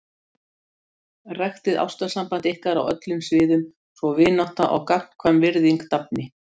Ræktið ástarsamband ykkar á öllum sviðum svo vinátta og gagnkvæm virðing dafni.